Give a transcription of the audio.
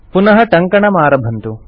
पुनः टङ्कनमारभन्तु